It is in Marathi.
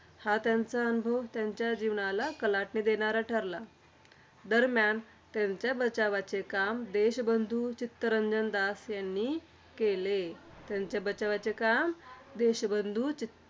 हा त्यांचा अनुभव त्यांच्या जीवनाला कलाटणी देणारा ठरला. दरम्यान, त्यांच्या बचावाचे काम देशबंधू चित्तरंजन दास यांनी केले. त्यांच्या बचावाचे काम, देशबंधू चित्त